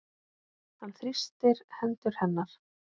Hann þrýstir hendur hennar.